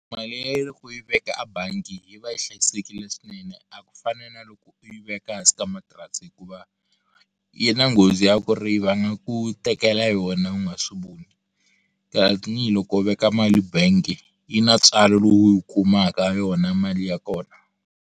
Mali ya loko u yi veka a bangi yi va yi hlayisekile swinene a ku fani na loko u yi veka ehansi ka matirasi hikuva yi na nghozi ya ku ri va nga ku tekela yona u nga swi voni tanihiloko u veka mali bank yi na tswalo lowu yi kumaka yona mali ya kona.